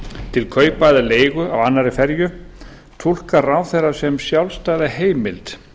til kaupa eða leigu á annarri ferju túlkar ráðherrann sem sjálfstæða heimild